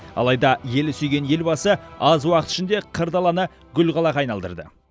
алайда елі сүйген елбасы аз уақыт ішінде қыр даланы гүл қалаға айналдырды